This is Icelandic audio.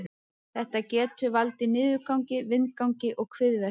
Þetta getur valdið niðurgangi, vindgangi og kviðverkjum.